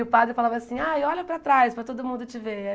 E o padre falava assim, ai olha para trás, para todo mundo te ver.